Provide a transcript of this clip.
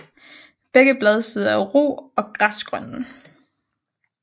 Begge bladsider er ru og græsgrønne